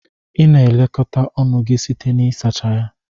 Ị na-elekọta ọnụ gị site na ịsacha ya.